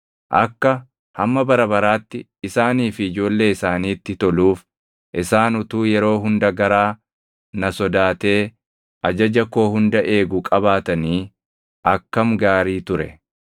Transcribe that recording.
Akka hamma bara baraatti isaanii fi ijoollee isaaniitti toluuf isaan utuu yeroo hunda garaa na sodaatee ajaja koo hunda eegu qabaatanii akkam gaarii ture!